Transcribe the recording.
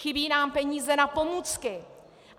Chybí nám peníze na pomůcky.